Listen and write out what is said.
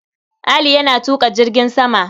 Ali yana tuƙa jirgin sama.